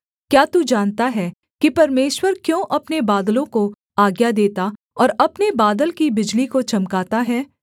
क्या तू जानता है कि परमेश्वर क्यों अपने बादलों को आज्ञा देता और अपने बादल की बिजली को चमकाता है